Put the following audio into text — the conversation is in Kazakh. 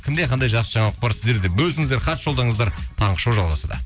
кімде қандай жақсы жаңалық бар сіздер де бөлісіңіздер хат жолдаңыздар таңғы шоу жалғасуда